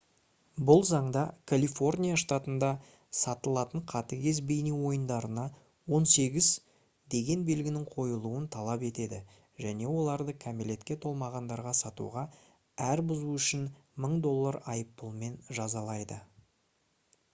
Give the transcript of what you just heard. бұл заңда калифорния штатында сатылатын қатыгез бейне ойындарына «18» деген белгінің қойылуын талап етеді және оларды кәмелетке толмағандарға сатуға әр бұзу үшін $1000 айыппұлымен жазалайды